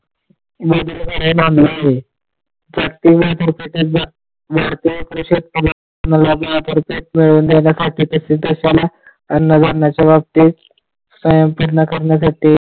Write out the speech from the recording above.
अन्नधान्याच्या बाबतीत .